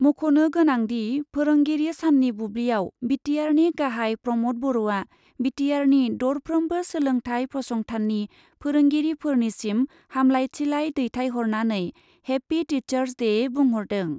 मख'नो गोनांदि, फोरोंगिरि साननि बुब्लियाव बिटिआरनि गाहाइ प्रमद बर'आ बिटिआरनि दरफ्रोमबो सोलोंथाय फसंथाननि फोरोंगिरिफोरनिसिम हामलायथिलाइ दैथायहरनानै 'हेपि, टिसार्स दे' बुंहरदों।